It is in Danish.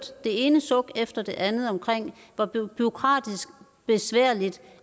det ene suk efter det andet om hvor bureaukratiske besværlige